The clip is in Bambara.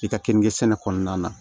I ka keninke sɛnɛ kɔnɔna na